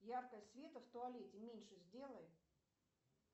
яркость света в туалете меньше сделай